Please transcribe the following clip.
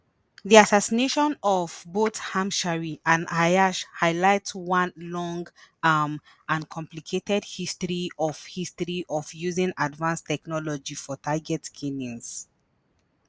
di assassinations of both hamshari and ayyash highlight one long um and complicated history of history of using advanced technology for target killings.